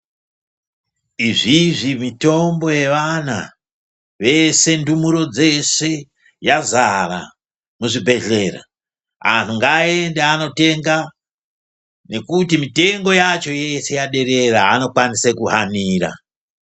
Izvizvi mitombo yevana vese ndumurwa dzeshe yazara muzvibhehlera anhu ngaende anotenga ngekuti mitengo yacho yeshe yaderera anokwanise kuhanira.